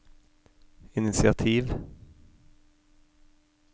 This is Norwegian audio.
initiativ